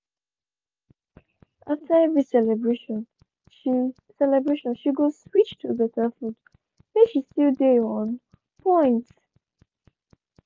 after every celebration she celebration she go switch to better food make she still dey on point.